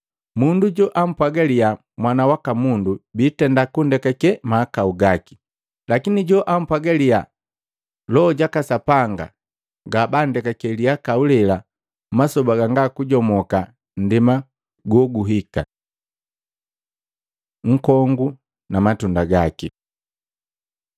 Mundu joampwaga liyaa Mwana waka Mundu bitenda kundekake mahakau gaki, lakini joampwaaga liyaa Loho jaka Sapanga, ngabanndekake lihakau lela masoba ganga kujomoka nndema goguhika. Nkongu na Matunda gaki Luka 6:43-45